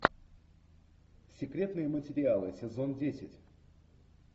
секретные материалы сезон десять